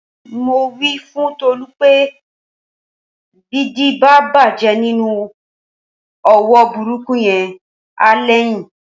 Mo wí fún Tolú pé bídìí bá bàjẹ́ nínú òwò burúkú yẹn, á lẹ́yìn